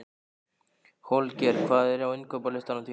Holger, hvað er á innkaupalistanum mínum?